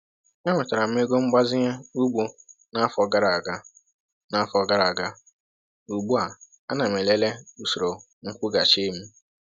E nwetara m ego mgbazinye ugbo n’afọ gara aga, n’afọ gara aga, ugbu a ana m elele usoro nkwụghachi m